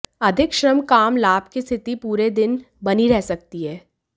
अधिक श्रम काम लाभ की स्थिति पूरे दिन बनी रह सकती है